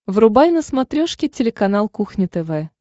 врубай на смотрешке телеканал кухня тв